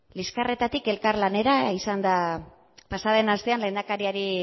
liskarretatik elkarlanera izan da pasaden astean lehendakariari